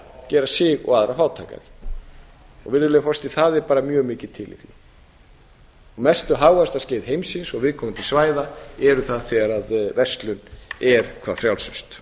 gera sig og aðra fátækari virðulegur forseti það er bara mjög mikið til í því mestu hagvaxtarskeið heimsins og viðkomandi svæða eru það þegar verslun er hve frjálsust